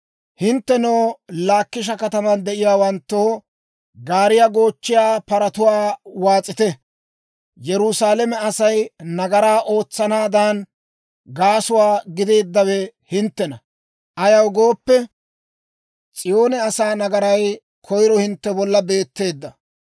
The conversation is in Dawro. Hinttenoo, Laakisha kataman de'iyaawanttoo, gaariyaa goochchiyaa paratuwaa waas'ite. Yerusaalame Asay nagaraa ootsanaadan gaasuwaa gideeddawe hinttena; ayaw gooppe, S'iyoone asaa nagaray koyiro hintte bolla beetteedda.